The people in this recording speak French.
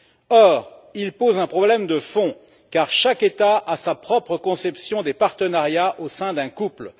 Or, il pose un problème de fond, car chaque État a sa propre conception des partenariats au sein d'un couple.